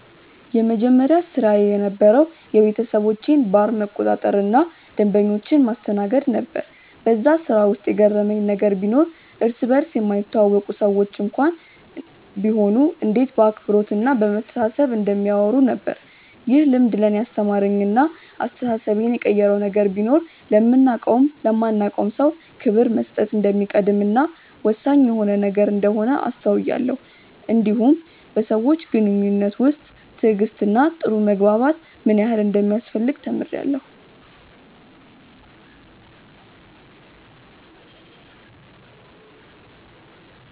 የመጀመሪያ ስራዬ የነበረዉ የቤተሰቦቼን ባር መቆጣጠር እና ደንበኞችን ማስተናገድ ነበር በዛ ስራ ውስጥ የገረመኝ ነገር ቢኖር እርስ በርስ የማይተዋወቁ ሰዎች እንኳን ቢሆኑ እንዴት በአክብሮት እና በመተሳሰብ እንደሚያወሩ ነበር። ይህ ልምድ ለእኔ ያስተማረኝ እና አስተሳሰቤን የቀየረው ነገር ቢኖር ለምናቀውም ለማናቀውም ሰው ክብር መስጠት እንደሚቀድም እና ወሳኝ የሆነ ነገር እንደሆነ አስተውያለው እንዲሁም በሰዎች ግንኙነት ውስጥ ትዕግስት እና ጥሩ መግባባት ምን ያህል እንደሚያስፈልግ ተምሬአለሁ።